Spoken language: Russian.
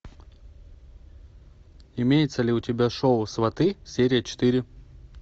имеется ли у тебя шоу сваты серия четыре